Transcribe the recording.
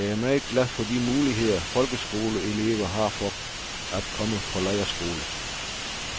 Jeg er meget glad for de muligheder folkeskolelever har for at komme på lejrskole.